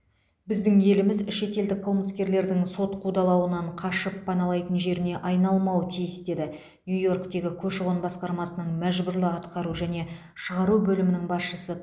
біздің еліміз шетелдік қылмыскерлердің сот қудалауынан қашып паналайтын жеріне айналмауы тиіс дейді нью йорктегі көші қон басқармасының мәжбүрлі атқару және шығару бөлімінің басшысы